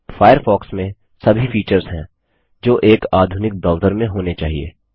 Firefox में सभी features हैं जो एक आधुनिक ब्राउज़र में होने चाहिए